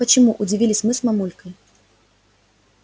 почему удивились мы с мамулькой